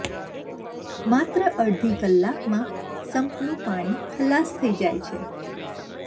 માત્ર અડધી કલાકમાં સંપનું પાણી ખલાસ થઈ જાય છે